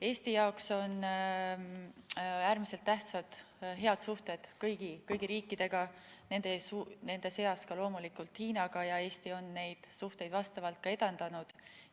Eesti jaoks on äärmiselt tähtsad head suhted kõigi riikidega, nende seas loomulikult Hiinaga, ja Eesti on neid suhteid vastavalt ka edendanud.